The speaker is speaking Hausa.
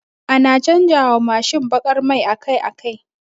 Ana canja wa Mashin bakar mai akai akai